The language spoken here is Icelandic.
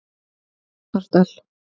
Bárðardal